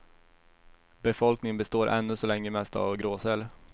Befolkningen består ännu så länge mest av gråsäl.